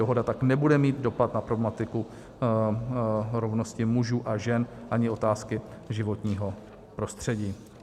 Dohoda tak nebude mít dopad na problematiku rovnosti mužů a žen ani otázky životního prostředí.